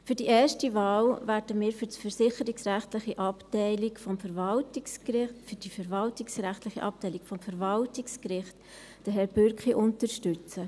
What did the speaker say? Bei der ersten Wahl werden wir für die verwaltungsrechtliche Abteilung des Verwaltungsgerichts Herrn Bürki unterstützen.